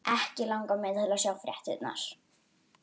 Ekki langar mig til að sjá fréttirnar.